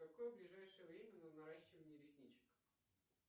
какое ближайшее время на наращивание ресничек